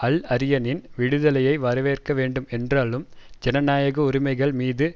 அல்அரியனின் விடுதலையை வரவேற்க வேண்டும் என்றாலும் ஜனநாயக உரிமைகள் மீது